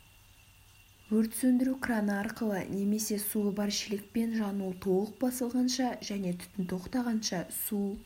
өрт сөндіру краны арқылы немесе суы бар шелекпен жану толық басылғанша және түтін тоқтағанша су